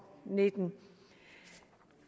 nitten